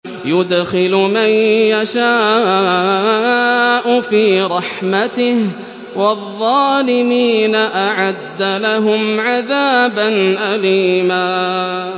يُدْخِلُ مَن يَشَاءُ فِي رَحْمَتِهِ ۚ وَالظَّالِمِينَ أَعَدَّ لَهُمْ عَذَابًا أَلِيمًا